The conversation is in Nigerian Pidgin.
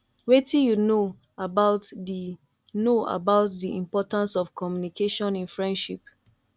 wetin you know about di know about di importance of communication in friendship